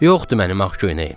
Yoxdur mənim ağ köynəyim.